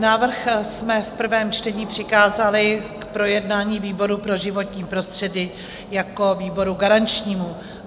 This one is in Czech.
Návrh jsme v prvém čtení přikázali k projednání výboru pro životní prostředí jako výboru garančnímu.